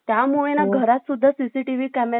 camera रे बसवणं गरजेचं आहे .